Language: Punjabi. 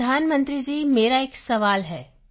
ਪ੍ਰਧਾਨ ਮੰਤਰੀ ਜੀ ਮੇਰਾ ਇੱਕ ਸਵਾਲ ਹੈ